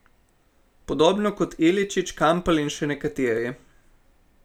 Podobno kot Iličić, Kampl in še nekateri.